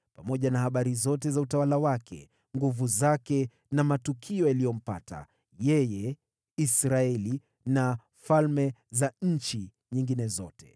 pamoja na habari zote za utawala wake, nguvu zake na matukio yaliyompata yeye, na Israeli, na falme za nchi nyingine zote.